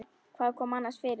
Hvað kom annars fyrir þig?